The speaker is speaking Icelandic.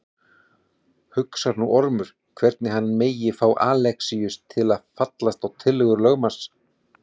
Hugsar nú Ormur hvernig hann megi fá Alexíus til að fallast á tillögur lögmanns.